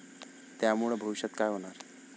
त्यामुळं भविष्यात काय होणार?